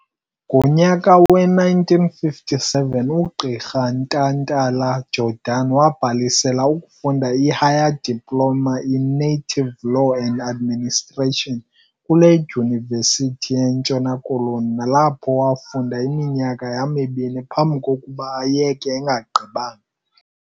Ngonyaka we-1957 ugqirha Ntantala-Jordan wabhalisela ukufunda iHigher Diploma in Native Law and Administration kule dyunivesithi yeNtshona Koloni nalapho wafunda iminyaka yamibini phambi kokuba ayeke engagqibanga.